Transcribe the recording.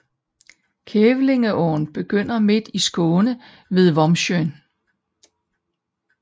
Kävlingeån begynder midt i Skåne ved Vombsjön